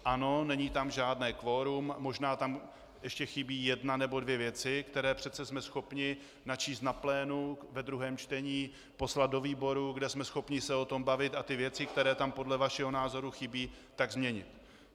Ano, není tam žádné kvorum, možná tam ještě chybí jedna nebo dvě věci, které přece jsme schopni načíst na plénu ve druhém čtení, poslat do výborů, kde jsme schopni se o tom bavit, a ty věci, které tam podle vašeho názoru chybí, tak změnit.